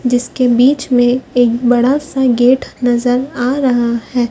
जिसके बीच मे एक बड़ा सा गेट नज़र आ रहा है।